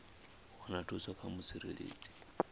u wana thuso kha mutsireledzi